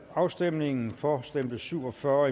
afstemningen for stemte syv og fyrre og